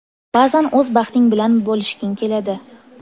Ba’zan o‘z baxting bilan bo‘lishging keladi.